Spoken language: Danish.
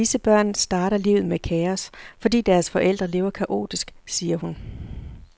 Disse børn starter livet med kaos, fordi deres forældre lever kaotisk, siger hun.